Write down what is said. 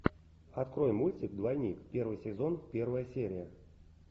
открой мультик двойник первый сезон первая серия